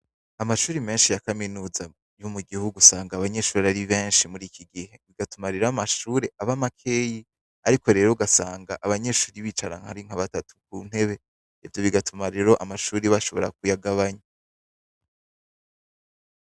Amashure menshi ya Kaminuza yo mugihugu usanga abanyeshure ari benshi muri iki gihe , bigatuma rero amashure aba makeyi ariko rero ugasanga abanyeshure bicara ari nka batatu ku ntebe , ivyo bigatuma rero amashure bashobora kuyagabanya .